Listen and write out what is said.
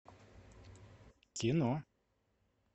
кино